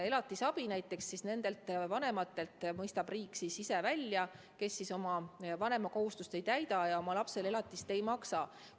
Elatisabi mõistab nendelt vanematelt, kes oma vanemakohustust ei täida ja oma lapsele elatist ei maksa, riik ise välja.